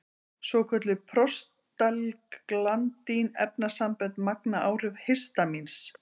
Svokölluð prostaglandín-efnasambönd magna áhrif histamíns.